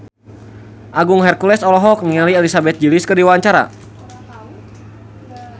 Agung Hercules olohok ningali Elizabeth Gillies keur diwawancara